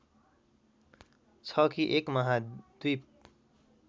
छ कि एक महाद्वीप